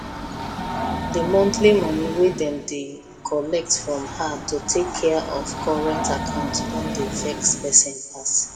the monthly money wey dem dey collect from her to take care of current account don dey vex person pass